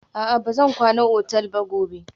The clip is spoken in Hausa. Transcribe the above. A'a, ba zan kwana otal ba gobe.